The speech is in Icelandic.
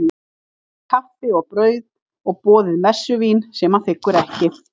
Hann fær kaffi og brauð, og boðið messuvín sem hann þiggur ekki.